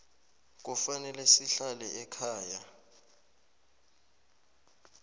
kufanele sihlale ekhaya